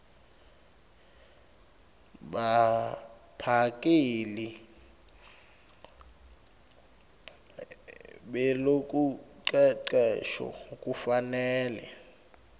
baphakeli belucecesho kufanele